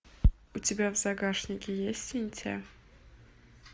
у тебя в загашнике есть синтия